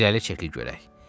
İrəli çəkil görək.